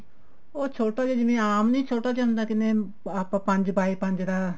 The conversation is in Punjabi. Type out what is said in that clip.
ਉਹ ਛੋਟਾ ਜਾ ਹੁੰਦਾ ਜਿਵੇਂ ਆਪਾਂ ਪੰਜ ਬਾਏ ਪੰਜ ਦਾ